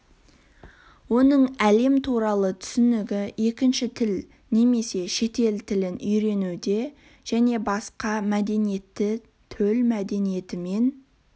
оның әлем туралы түсінігі екінші тіл немесе шетел тілін үйренуде және басқа мәдениетті төл мәдениетімен